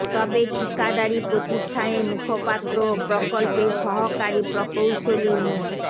তবে ঠিকাদারি প্রতিষ্ঠানের মুখপাত্র ও প্রকল্পের সহকারী প্রকৌশলী মো